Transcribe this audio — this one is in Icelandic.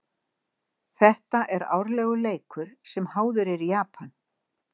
Þetta er árlegur leikur sem háður er í Japan.